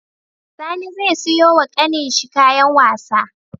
Sani ze siyo wa ƙanin shi kayan wasa